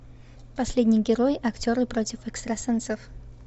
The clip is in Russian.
последний герой актеры против экстрасенсов